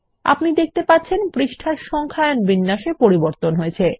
আপনি দেখতে পাচ্ছেন এখন পৃষ্ঠার সংখ্যায়ন শৈলীতে পরিবর্তন হয়ছে